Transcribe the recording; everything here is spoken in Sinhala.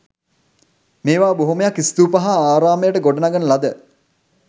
මේවා බොහොමයක් ස්තූප හා ආරාමයට ගොඩනගන ලද